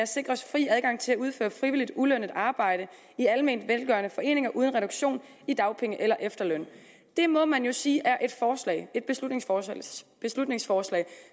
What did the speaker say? sikres fri adgang til at udføre frivilligt ulønnet arbejde i alment velgørende foreninger uden reduktion i dagpenge eller efterløn det må man jo sige er et beslutningsforslag beslutningsforslag